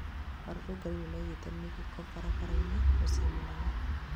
arorongani nĩmaigĩte mĩgĩko farafara-ini mũcĩĩ mũnene